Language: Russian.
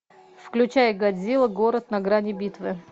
включай годзилла город на грани битвы